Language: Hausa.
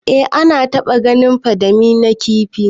Eh na taba ganin kandami na kifi.